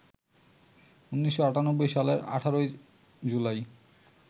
১৯৯৮ সালের ১৮ জুলাই